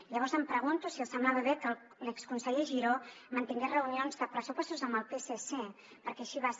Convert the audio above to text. i llavors em pregunto si els semblava bé que l’exconseller giró mantingués reunions de pressupostos amb el psc perquè així va ser